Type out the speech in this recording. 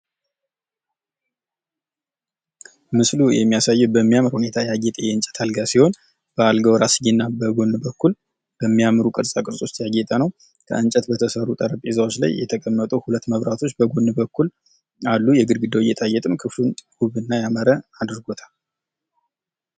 ምስሉ የሚያሳየን በሚያምር ሁኔታ የአጌጠ የእንጨት አልጋ ሲሆን በአልጋው ራስጌ እና በጎን በኩል በሚያምሩ ቅርጻቅርጾች ያጌጠ ነው። ከንጨት በተሰሩ ጠረንጴዛዎች ላይ የተቀመጡ ሁለት መብራቶች አሉ። የግድግዳው ጌጣጌጥ ክፍሉን ውብ እና ያማረ አድርጎታል።